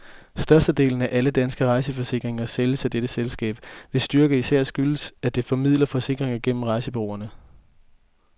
Størstedelen af alle danske rejseforsikringer sælges af dette selskab, hvis styrke især skyldes, at det formidler forsikringer gennem rejsebureauerne.